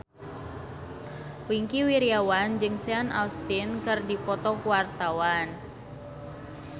Wingky Wiryawan jeung Sean Astin keur dipoto ku wartawan